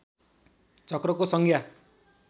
चक्रको संज्ञा